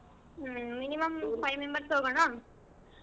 ಹ್ಮ್ minimum five members ಹೋಗೋಣ?